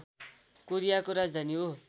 कोरियाको राजधानी हो